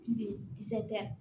Ci de kisɛ